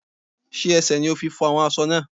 Sé ẹsẹ̀ ni o fi fọ́ awọ́n aṣọ náà?